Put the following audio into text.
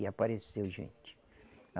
E apareceu gente.